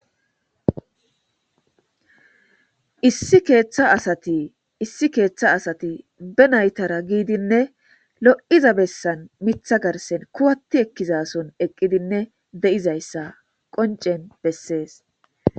issi keeththa asati issi keeththa asati be naytara giidinne lo7iza bessan mitha garsen kuwatti ekkizason eqqidinne de7izayssa qoncen bessees